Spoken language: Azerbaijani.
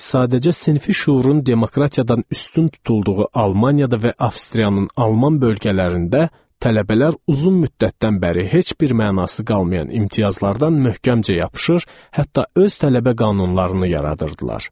Sadəcə sinfi şüurun demokratiyadan üstün tutulduğu Almaniyada və Avstriyanın alman bölgələrində tələbələr uzun müddətdən bəri heç bir mənası qalmayan imtiyazlardan möhkəmcə yapışır, hətta öz tələbə qanunlarını yaradırdılar.